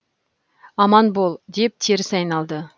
аман бол деп теріс айналды